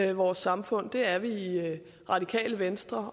i vores samfund det er vi i radikale venstre